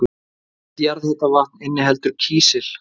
Allt jarðhitavatn inniheldur kísil.